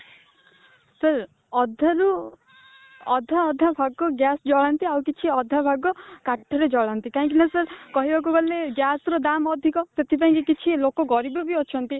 ହୁଁ ଅଧାରୁ ଅଧା ଅଧା ଭାଗ gas ଜାଳନ୍ତି ଆଉ କିଛି ଅଧା ଭାଗ କାଠ ରେ ଜାଳନ୍ତି କାହିଁକି ନା କହିବାକୁ ଗଲେ gas ର ଦାମ ଅଧିକ ସେଥିପାଇଁ କିଛି ଲୋକ ଗରିବ ବି ଅଛନ୍ତି